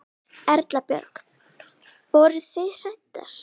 Erla Björg: Voruð þið hræddar?